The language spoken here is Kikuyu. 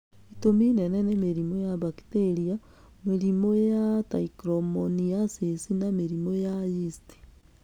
Itũmi nene nĩ mĩrimũ ya mbakitĩria, murimũ ya trichomoniasis na mũrimu wa yeast.